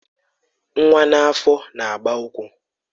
Nwa n'afọ na-agba ụkwụ